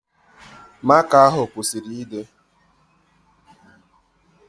Maka ahụ kwụsịrị ịde